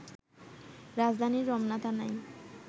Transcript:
রাজধানীর রমনা থানায়